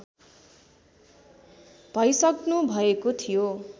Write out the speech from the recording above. भइसक्नुभएको थियो